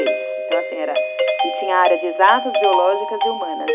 Então, assim, era... E tinha área de exatas, biológicas e humanas.